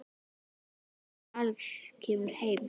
Þangað til Axel kemur heim.